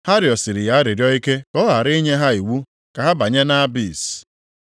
Ha rịọsiri ya arịrịọ ike ka ọ ghara inye ha iwu ka ha banye nʼAbis.